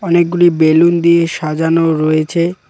অনেকগুলি বেলুন দিয়ে সাজানো রয়েছে।